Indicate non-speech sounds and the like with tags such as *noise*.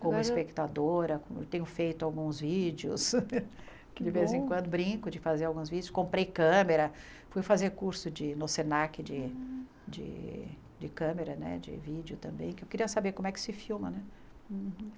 Como espectadora, tenho feito alguns vídeos, *laughs* de vez em quando brinco de fazer alguns vídeos, comprei câmera, fui fazer curso de no SENAC de de de câmera né, de vídeo também, que eu queria saber como é que se filma, né?